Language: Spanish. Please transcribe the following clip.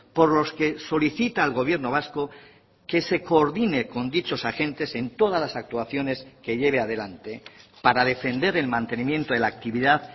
por los que solicita al gobierno vasco que se coordine con dichos agentes en todas las actuaciones que lleve adelante para defender el mantenimiento de la actividad